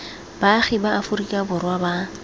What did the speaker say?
baagi ba aforika borwa ba